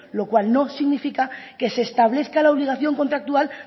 lo cual no significa que se establezca la obligación contractual